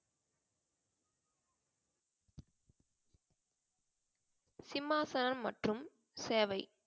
சிம்மாசனம் மற்றும் சேவை.